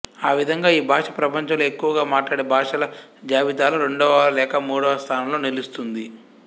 ఆ విధంగా ఈ భాష ప్రపంచంలో ఎక్కువగా మాట్లాడే భాషల జాబితాలో రెండవ లేక మూడవ స్థానంలో నిలుస్తుంది